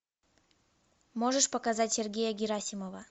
можешь показать сергея герасимова